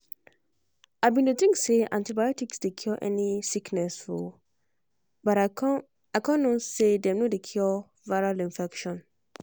i bin dey think say antibiotics dey cure any sickness o but i con con know say dem no dey cure viral infection.